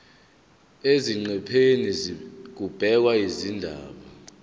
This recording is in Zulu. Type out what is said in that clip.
eziqephini kubhekwe izindaba